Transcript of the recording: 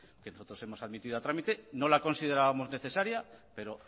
nosotros hemos admitido a trámite no la considerábamos necesaria pero